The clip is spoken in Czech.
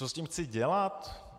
Co s tím chci dělat?